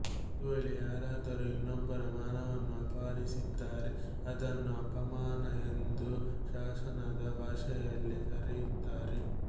ಒಂದು ವೇಳೆ ಯಾರಾದರೂ ಇನ್ನೊಬ್ಬರ ಮಾನವನ್ನು ಅಪಹರಿಸಿದರೆ ಅದನ್ನು ಅಪಮಾನ ಎಂದು ಶಾಸನದ ಭಾಷೆಯಲ್ಲಿ ಕರೆಯುತ್ತಾರೆ